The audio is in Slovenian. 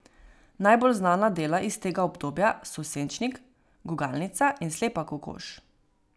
Najbolj znana dela iz tega obdobja so Senčnik, Gugalnica in Slepa kokoš.